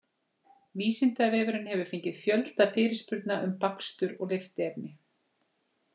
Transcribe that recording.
Vísindavefurinn hefur fengið fjölda fyrirspurna um bakstur og lyftiefni.